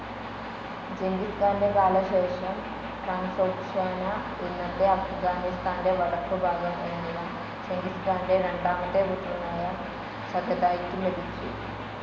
Genghis ഖാന്റെ കാലശേഷം Transoxiana, ഇന്നത്തെ അഫ്ഗാനിസ്താന്റെ വടക്കുഭാഗം എന്നിവ, ചെങ്കിസ് ഖാന്റെ രണ്ടാമത്തെ പുത്രനായ ചഗതായ്ക്ക് ലഭിച്ചു.